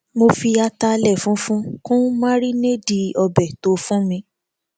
mo fi ataalẹ funfun kun márínéèdì ọbẹ tófù mi